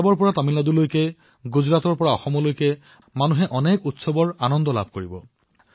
পাঞ্জাৱৰ পৰা আৰম্ভ কৰি তামিলনাডুলৈ আৰু গুজৰাটৰ পৰা আৰম্ভ কৰি অসমলৈ জনসাধাৰণে অনেক উৎসৱ পালন কৰিব